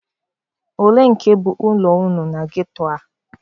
Olee nke bụ ụlọ unu na ghetto a?